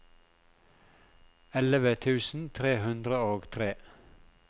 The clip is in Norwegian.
elleve tusen tre hundre og tre